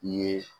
I ye